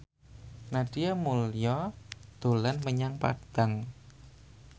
Nadia Mulya dolan menyang Padang